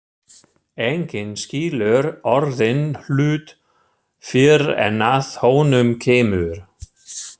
Enginn skilur orðinn hlut fyrr en að honum kemur.